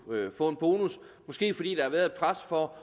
kunne få en bonus måske fordi der har været et pres for